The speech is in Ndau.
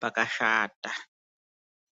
pakashata.